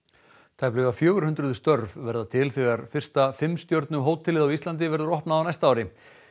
tæplega fjögur hundruð störf verða til þegar fyrsta fimm stjörnu hótelið á Íslandi verður opnað á næsta ári